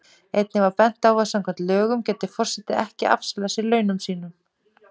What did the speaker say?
Einnig var bent á að samkvæmt lögum gæti forseti ekki afsalað sér launum sínum.